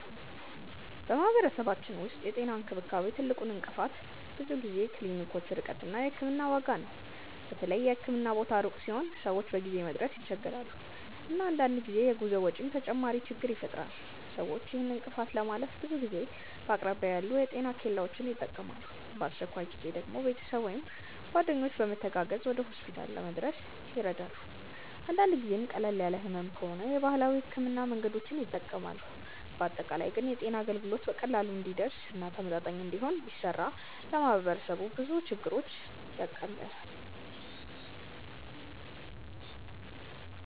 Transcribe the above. በማህበረሰባችን ውስጥ የጤና እንክብካቤ ትልቁ እንቅፋት ብዙ ጊዜ የክሊኒኮች ርቀት እና የሕክምና ዋጋ ነው። በተለይ የህክምና ቦታ ሩቅ ሲሆን ሰዎች በጊዜ መድረስ ይቸገራሉ፣ እና አንዳንድ ጊዜ የጉዞ ወጪም ተጨማሪ ችግኝ ይፈጥራል። ሰዎች ይህን እንቅፋት ለማለፍ ብዙ ጊዜ በአቅራቢያ ያሉ የጤና ኬላዎችን ይጠቀማሉ፣ በአስቸኳይ ጊዜ ደግሞ ቤተሰብ ወይም ጓደኞች በመተጋገዝ ወደ ሆስፒታል ለመድረስ ይረዳሉ። አንዳንድ ጊዜም ቀለል ያለ ህመም ከሆነ የባህላዊ ሕክምና መንገዶችን ይጠቀማሉ። በአጠቃላይ ግን የጤና አገልግሎት በቀላሉ እንዲደርስ እና ተመጣጣኝ እንዲሆን ቢሰራ ለማህበረሰቡ ብዙ ችግሮችን ያቃልላል።